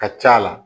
Ka c'a la